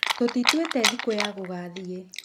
Tũtĩtũĩte thĩkũ ya gũgathiĩ